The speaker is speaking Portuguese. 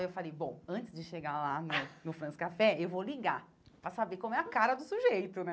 E eu falei, bom, antes de chegar lá no no France Café, eu vou ligar, para saber qual é a cara do sujeito, né?